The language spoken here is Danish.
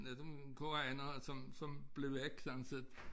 En af dem koreanere som som blev væk sådan set